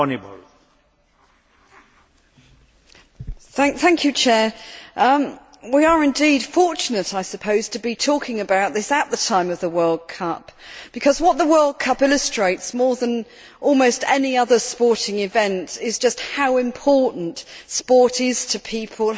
Mr President, we are indeed fortunate, I suppose, to be talking about this at the time of the World Cup because what the World Cup illustrates more than almost any other sporting event is just how important sport is to people